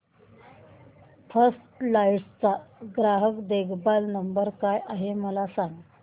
first flight चा ग्राहक देखभाल नंबर काय आहे मला सांग